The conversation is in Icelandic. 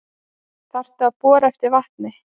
Þurftu að bora eftir vatni